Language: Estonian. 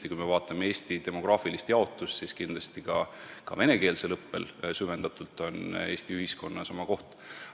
Ja kui me vaatame Eesti demograafilist jaotust, siis kindlasti on ka süvendatud venekeelsel õppel Eesti ühiskonnas oma koht.